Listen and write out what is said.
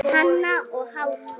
Hanna og Hákon.